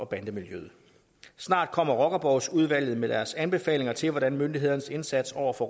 bande miljøet snart kommer rockerborgsudvalget med deres anbefalinger til hvordan myndighedernes indsats over for